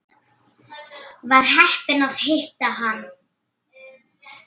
Var heppin að hitta hann.